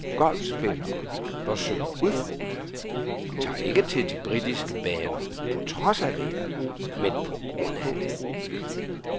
Golfspillere, der søger udfordringer, tager ikke til de britiske baner på trods af vejret men på grund af det.